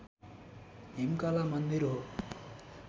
हिमकला मन्दिर हो